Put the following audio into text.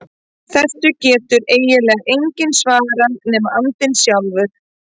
Þessu getur eiginlega enginn svarað nema andinn sjálfur.